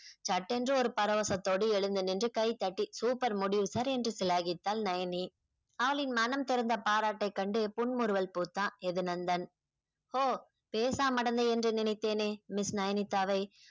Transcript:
சட்டென்று ஒரு பரவசத்தோடு எழுந்து நின்று கைதட்டி super முடிவு sir என்று சிலாகித்தால் நயனி அவளின் மனம் திறந்த பாராட்டை கண்டு புன்முறுவல் பூத்தான் எதுநந்தன் ஒ பேசமடந்து என்று நினைத்தேனே miss நயனித்தாவை